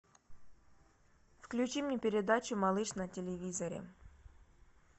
включи мне передачу малыш на телевизоре